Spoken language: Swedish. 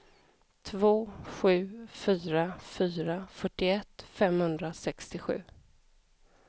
två sju fyra fyra fyrtioett femhundrasextiosju